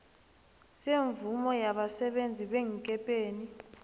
semvumo yabasebenzi beenkepeni